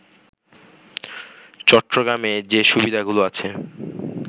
“চট্টগ্রামে যে সুবিধাগুলো আছে